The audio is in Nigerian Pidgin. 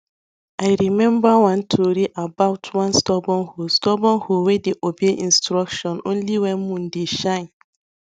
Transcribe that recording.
i remember one tori about one stubbor hoe stubbor hoe wey dey obey instruction only when moon dey shine